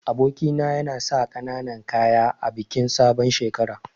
Aboki na yana sa kananan kaya a bikin sabon shekara.